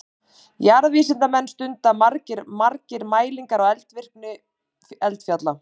Jarðvísindamenn stunda margir mælingar á eldvirkni eldfjalla.